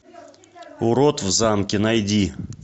урод в замке найди